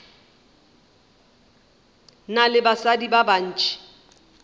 na le basadi ba bantši